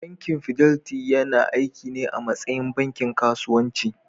Bankin Fidelity yana aiki ne a matsayin bankin kasuwanci.